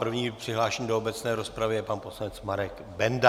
První přihlášený do obecné rozpravy je pan poslanec Marek Benda.